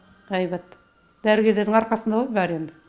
әйбат дәрігерлердің арқасында ғой бәрі енді